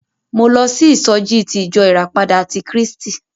Mo lọ sí ìsọjí ti ìjọ ìràpadà ti Krístì.